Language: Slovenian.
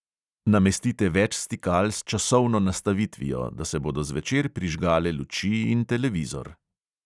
Namestite več stikal s časovno nastavitvijo, da se bodo zvečer prižgale luči in televizor.